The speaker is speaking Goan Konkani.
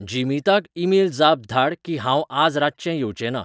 जिमीताक ईमेल जाप धाड की हांव आज रातचें येवचेंना